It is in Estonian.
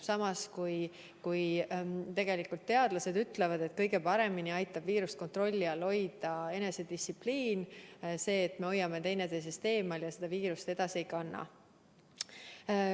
Samas teadlased ütlevad, et kõige paremini aitab viirust kontrolli all hoida enesedistsipliin, see, et me hoiame üksteisest eemale ja seda viirust edasi ei kanna.